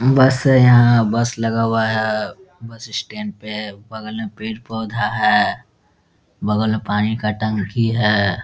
बस यहाँ बस लगा हुआ है बस स्टैंड पे है बगल में पेड़-पौधा है बगल में पानी का टंकी है ।